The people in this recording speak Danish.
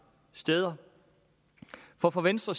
steder for for venstre